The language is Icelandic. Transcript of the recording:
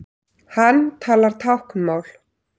Hann talar táknmál.